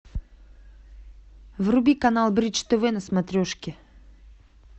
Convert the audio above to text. вруби канал бридж тв на смотрешке